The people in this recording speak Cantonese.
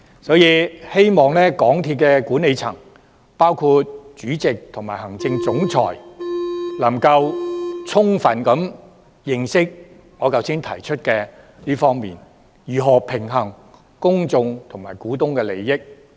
所以，希望港鐵公司管理層，包括主席及行政總裁，能夠充分理解我剛才提出的這一點，要認識如何平衡公眾及股東的利益。